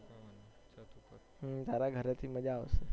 હમ તારા ઘરે થી મજ્જા આવશે